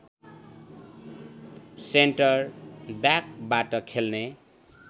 centre ब्याकबाट खेल्ने